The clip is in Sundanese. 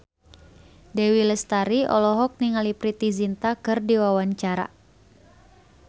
Dewi Lestari olohok ningali Preity Zinta keur diwawancara